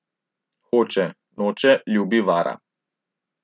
Hoče, noče, ljubi, vara.